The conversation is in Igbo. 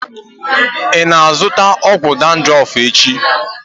Ị na-azụta ọgwụgwọ dandruff echi?